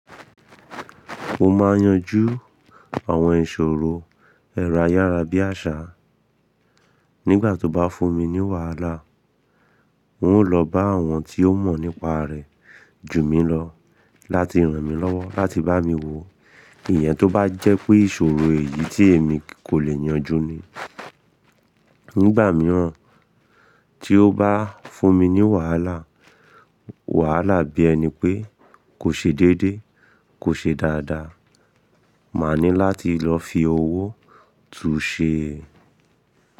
Mo máa n yanju àwọn ìṣòro, ẹra yára bí àṣá. Nígbà tó bá fún mi ní wàhálà, n ó lọ bá àwọn tí ó mọ̀ nípa rẹ̀ ju mi lọ láti ràn mí lọ́wọ́ láti bá mi wo iyan tó bá jẹ́ pé ìṣòro èyí tí èmi kò lè yanjú ni. Nígbà mìíràn tí ó bá fún mi ní wàhálà, wàhálà bí ẹni pé kò ṣe déédé, kò ṣe dáadáa, máa ní láti lọ fi owó tuṣe.